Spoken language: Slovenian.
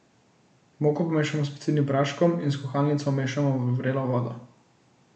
Moko pomešamo s pecilnim praškom in s kuhalnico vmešamo v vrelo vodo.